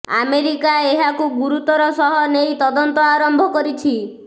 America ଏହାକୁ ଗୁରୁତର ସହ ନେଇ ତଦନ୍ତ ଆରମ୍ଭ କରିଛି